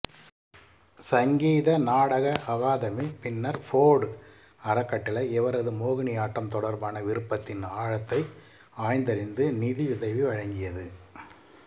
சங்கீத நாடக அகாதமி பின்னர் ஃபோர்டு அறக்கட்டளை இவரது மோகினியாட்டம் தொடர்பான விருப்பத்தின் ஆழத்தை ஆய்ந்தறிந்து நிதியுதவி வழங்கியது